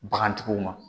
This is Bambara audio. Bagantigiw ma